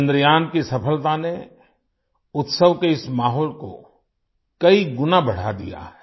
चंद्रयान की सफलता ने उत्सव के इस माहौल को कई गुना बढ़ा दिया है